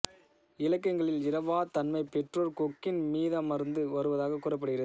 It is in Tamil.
இலக்கியங்களில் இறவாத் தன்மை பெற்றோர் கொக்கின் மீதமர்ந்து வருவதாக கூறப்படுகிறது